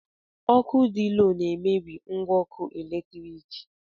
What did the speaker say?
Ọkụ dị lo na-emebi ngwa ọkụ eletrik.